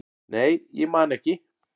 nei, ég man ekki